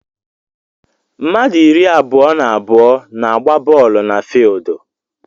Mmadụ iri abụọ na abụọ na agba boolu na fidi